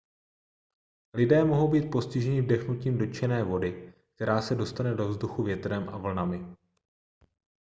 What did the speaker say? lidé mohou být postiženi vdechnutím dotčené vody která se dostane do vzduchu větrem a vlnami